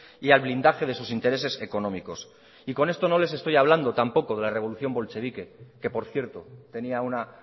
y al blindaje de sus intereses económicos y con esto no les estoy hablando tampoco de la revolución bolchevique que por cierto tenía una